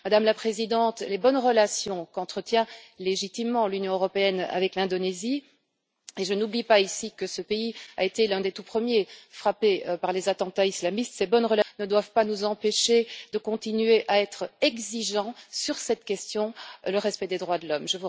Madame la Présidente, les bonnes relations qu'entretient légitimement l'Union européenne avec l'Indonésie et je n'oublie pas ici que ce pays a été l'un des tout premiers frappés par les attentats islamistes ne doivent pas nous empêcher de continuer à être exigeants sur la question du respect des droits de l'homme.